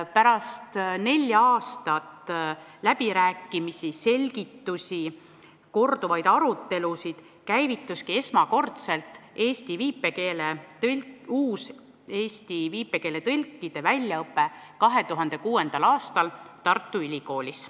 Pärast nelja aastat läbirääkimisi, selgitusi, korduvaid arutelusid käivituski esmakordselt eesti viipekeele tõlkide väljaõpe 2006. aastal Tartu Ülikoolis.